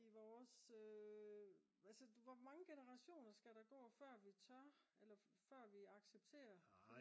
i vores altså hvor mange generationer skal der gå før vi tør eller før vi accepterer